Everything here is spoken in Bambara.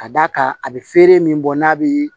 Ka d'a kan a bɛ feere min bɔ n'a bɛ